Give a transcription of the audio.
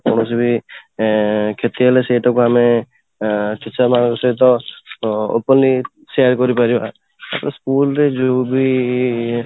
କୌଣସି ବି ଏଁ କ୍ଷେତି ହେଲେ ସେଇଟା କୁ ଆମେ ଏଁ teacher ମାନଙ୍କ ସହିତ openly share କରିପାରିବା ତ school ରେ ଯୋ ବି